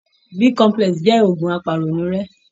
B complex jẹ́ ògun apàrònúrẹ́.